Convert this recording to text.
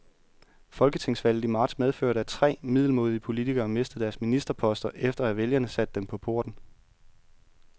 Folketingsvalget i marts medførte, at tre middelmådige politikere mistede deres ministerposter, efter at vælgerne satte dem på porten.